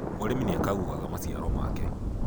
mũrĩmi nĩakaguaga maciaro make